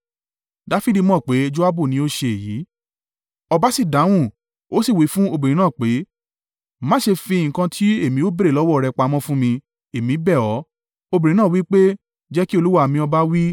Ọba sì dáhùn, ó sì wí fún obìnrin náà pé, “Má ṣe fi nǹkan tí èmi ó béèrè lọ́wọ́ rẹ pamọ́ fún mi, èmi bẹ̀ ọ́.” Obìnrin náà wí pé, “Jẹ́ kí olúwa mi ọba máa wí?”